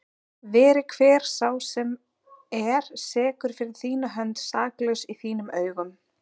veri hver sá sem er sekur fyrir þína hönd saklaus í þínum augum